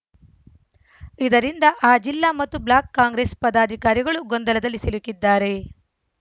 ಇದರಿಂದ ಆ ಜಿಲ್ಲಾ ಮತ್ತು ಬ್ಲಾಕ್‌ ಕಾಂಗ್ರೆಸ್‌ ಪದಾಧಿಕಾರಿಗಳು ಗೊಂದಲದಲ್ಲಿ ಸಿಲುಕಿದ್ದಾರೆ